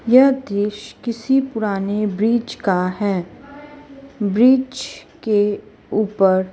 यह दृश्य किसी पुराने ब्रिज का है ब्रिज के ऊपर--